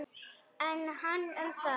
En hann um það.